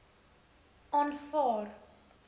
aanvaar